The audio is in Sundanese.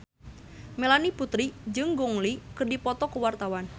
Melanie Putri jeung Gong Li keur dipoto ku wartawan